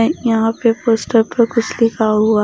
यहां पे पोस्ट पर कुछ लिखा हुआ--